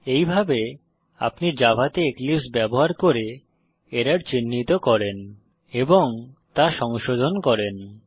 এইভাবে আপনি জাভাতে এক্লিপসে ব্যবহার করে এরর চিহ্নিত করেন এবং তা সংশোধন করেন